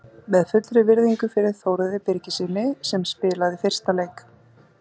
Með fullri virðingu fyrir Þórði Birgissyni sem spilaði fyrsta leik.